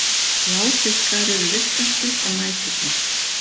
Bláfiskar eru virkastir á næturnar.